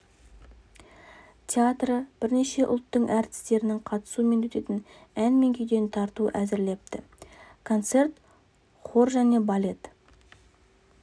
театры бірнеше ұлттың әртістерінің қатысуымен өтетін ән мен күйден тарту әзірлепті концерт хор және балет